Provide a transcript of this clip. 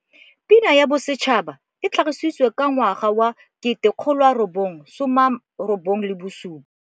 Pina ya Bosetšhaba e tlhagisi tswe ka 1997.